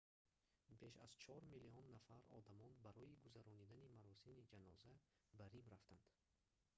беш аз чор миллион нафар одамон барои гузарондани маросими ҷаноза ба рим рафтанд